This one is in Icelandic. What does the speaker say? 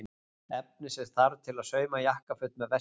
Efnið sem þarf til að sauma jakkaföt með vesti.